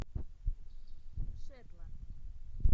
шетланд